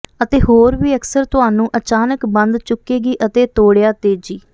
ਅਤੇ ਹੋਰ ਵੀ ਅਕਸਰ ਤੁਹਾਨੂੰ ਅਚਾਨਕ ਬੰਦ ਚੁੱਕੇਗੀ ਅਤੇ ਤੋੜਿਆ ਤੇਜ਼ੀ